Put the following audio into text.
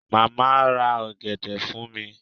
Mama ma ra ogede fun mi